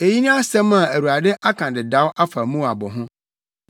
Eyi ne asɛm a Awurade aka dedaw afa Moab ho.